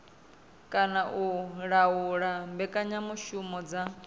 kana u laula mbekanyamushumo dza